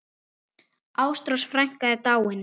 Ástrós frænka er dáin.